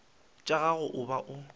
tša gago a ba bo